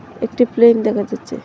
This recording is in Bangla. একটি প্লেন দেখা যাচ্চে ।